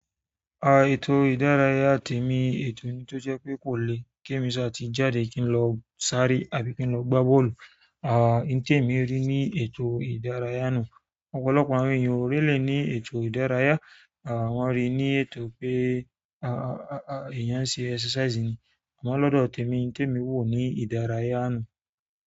À, ètò ìdárayá tèmi, ètò ni tó jẹ́ pé kò le kí èmi sá ti jáde kí n lọ sáré àbí kí n lọ gbá bọ́ọ̀lù. À, n tèmi rí ní ètò ìdárayá nu. Ọ̀pọ̀lọpọ̀ àwọn èèyàn ò rí lè ní ètò ìdárayá. À, wọ́n rí i ní ètò pé, à, èèyàn ṣe exercise ni. Àmọ́ lọ́dọ̀ tèmi, tèmi wò ó ní ìdárayá náà.